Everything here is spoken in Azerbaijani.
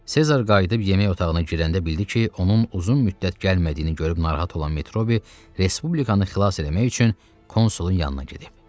Sezar qayıdıb yemək otağına girəndə bildi ki, onun uzun müddət gəlmədiyini görüb narahat olan Metrobiy Respublikanı xilas eləmək üçün konsulun yanına gedib.